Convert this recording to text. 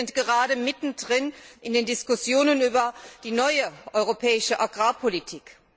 Wir sind gerade mitten drin in den Diskussionen über die neue europäische Agrarpolitik.